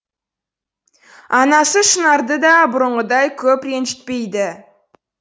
анасы шынарды да бұрынғыдай көп ренжітпейді